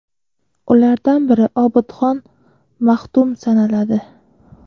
Ulardan biri Obidxon Mahdum sanaladi.